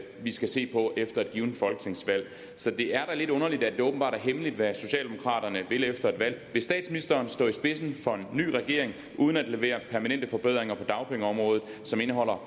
vi skal se på efter et givet folketingsvalg så det er da lidt underligt at det åbenbart er hemmeligt hvad socialdemokraterne vil efter et valg vil statsministeren stå i spidsen for en ny regering uden at levere permanente forbedringer på dagpengeområdet som indeholder